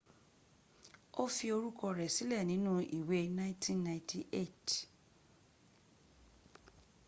o fi orúkọ rẹ sílẹ̀ sínú ìwé 1998